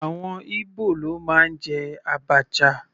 Àwọn Ibo ló máa ń jẹ abacha.